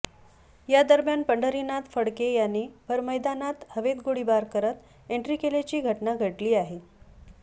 या दरम्यान पंढरीनाथ फडके याने भर मैदानात हवेत गोळीबार करत एंट्री केल्याची घटना घडली आहे